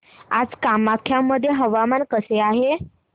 आज कामाख्या मध्ये हवामान कसे आहे